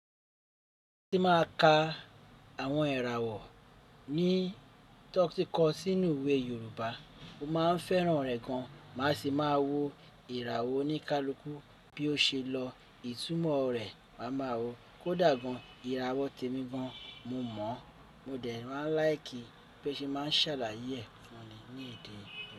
Kin mà á ka àwọn irawo ní toti ko sínú iwè Yorùbá, mo máa ń fẹ́ràn rẹ̀ gan. Màá sì máa wo ìràwọ̀ oníkálukú bí o ṣe lọ. Ìtumọ̀ rẹ̀ mà á máa wo. Kò dá gan. Ìràwọ̀ tèmí gan. Mo mọ̀. Mo dẹ̀ ma n like bo se máa ń ṣàlàyé ẹ̀ fun mi ní èdè mi.